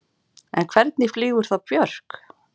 En hvernig flýgur þá Björk?